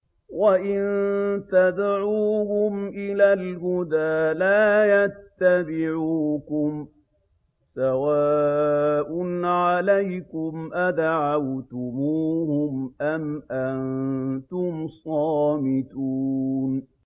وَإِن تَدْعُوهُمْ إِلَى الْهُدَىٰ لَا يَتَّبِعُوكُمْ ۚ سَوَاءٌ عَلَيْكُمْ أَدَعَوْتُمُوهُمْ أَمْ أَنتُمْ صَامِتُونَ